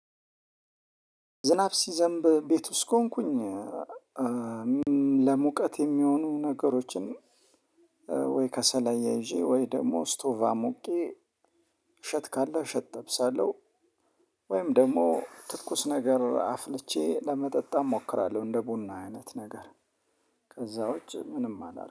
ዝናብ ሲዘንብ ቤት ውስጥ ከሆንኩኝ ለሙቀት የሚሆኑ ነገሮችን ወይ ከሰላያ ይዤ ወይ ደግሞ ስቶቫ ሞሙቄ ሸት ካለ ሸት ጠብሳለሁ። ወይም ደግሞ ትኩስ ነገር አፍልቼ ለመጠጣም እሞክራለሁ እንደ ቡና አይነት ነገር ከዛ ውጪ ምንም አላደርግም